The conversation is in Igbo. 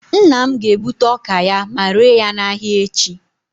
nna m ga-egbute ọka ya, ma ree ya n'ahịa echi